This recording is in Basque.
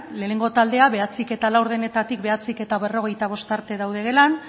lehenengo taldea bederatzihamabostetatik bederatzi berrogeita bost arte daude gelan